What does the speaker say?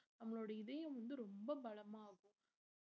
நம்மளோட இதயம் வந்து ரொம்ப பலமாகும்